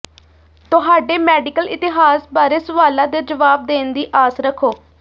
ਤੁਹਾਡੇ ਮੈਡੀਕਲ ਇਤਿਹਾਸ ਬਾਰੇ ਸਵਾਲਾਂ ਦੇ ਜਵਾਬ ਦੇਣ ਦੀ ਆਸ ਰੱਖੋ